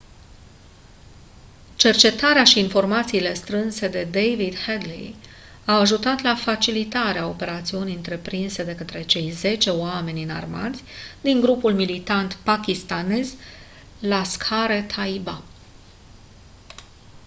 cercetarea și informațiile strânse de david headley au ajutat la facilitarea operațiunii întreprinse de către cei 10 oameni înarmați din grupul militant pakistanez laskhar-e-taiba